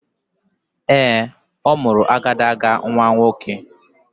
Ee, ọ mụrụ agadaga nnwa nwoke.